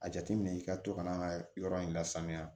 A jateminɛ i ka to ka n'an ka yɔrɔ in lasaniya